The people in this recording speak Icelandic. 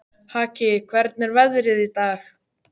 Haki, hvernig er veðrið í dag?